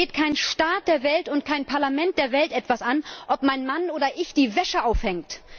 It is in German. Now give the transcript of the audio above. Es geht keinen Staat der Welt und kein Parlament der Welt etwas an, ob mein Mann oder ich die Wäsche aufhängt!